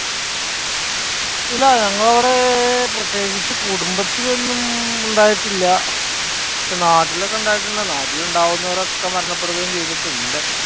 ഇല്ല. ഞങ്ങളുടെ അവിടെ പ്രത്യേകിച്ച് കുടുംബത്തിൽ ഒന്നും ഉണ്ടായിട്ടില്യ. പക്ഷേ നാട്ടിലൊക്കെ ഉണ്ടായിട്ടുണ്ടെന്ന്. നാട്ടിൽ ഉണ്ടാകുന്ന അവരൊക്കെ മരണപ്പെടുകയും ചെയ്തിട്ടുണ്ട്.